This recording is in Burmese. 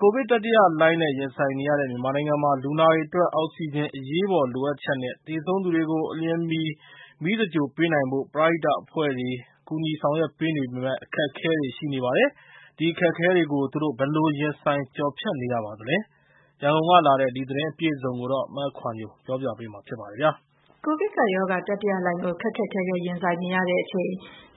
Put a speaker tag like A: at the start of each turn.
A: ကိုဗစ်တတိယလှိုင်းနဲ့ ရင်ဆိုင်နေရတဲ့ မြန်မာနိုင်ငံမှာ လူနာတွေအတွက် အောက်ဆီဂျင်အရေးပေါ် လိုအပ်ချက်နဲ့ သေဆုံးသူတွေကို အလျင်မီ မီးသင်္ဂြိုလ်ပေးနိုင်ဖို့ ပရဟိတအဖွဲ့တွေ ကူညီ ဆောင်ရွက်ပေးနေပေမယ့် အခက်အခဲတွေရှိနေပါတယ်။ ဒီအခက်အခဲတွေကို သူတို့ဘယ်လိုရင်ဆိုင် ကျော်ဖြတ်နေရပါသလဲ။ ရန်ကုန်ကလာတဲ့ ဒီသတင်းအပြည့်အစုံကို မခွာညို ပြောပြပါမယ်။
B: ကိုဗစ်ကပ်ရောဂါ တတိယလှိုင်းဒဏ်ကို ခက်ခက်ခဲခဲရင်ဆိုင်နေရချိန်